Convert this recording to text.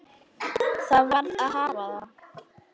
Það varð að hafa það.